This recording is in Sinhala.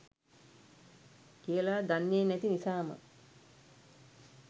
කියලා දන්නේ නැති නිසාම